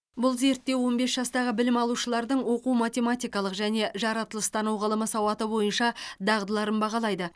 бұл зерттеу он бес жастағы білім алушылардың оқу математикалық және жаратылыстану ғылымы сауаты бойынша дағдыларын бағалайды